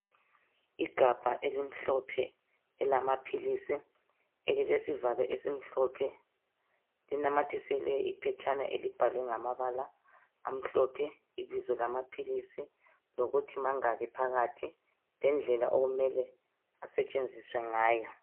Igabha elimhlophe elamaphilisi elilesivalo esimhlophe, linamathiselwe iphetshana elibhalwe ngamabala amhlophe ibizo lamaphilisi lokuthi mangaki phakathi lendlela okumele asetshenziswe ngayo.